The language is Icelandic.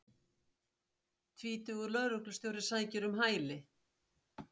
Tvítugur lögreglustjóri sækir um hæli